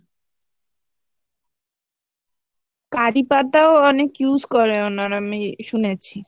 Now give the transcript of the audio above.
কারি পাতাও অনেক use করে ওনারা আমি শুনেছি